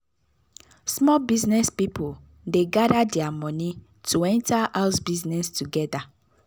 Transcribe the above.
small business people dey gather their money to enter House business together